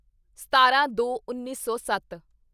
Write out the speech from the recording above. ਸਤਾਰਾਂਦੋਉੱਨੀ ਸੌ ਸੱਤ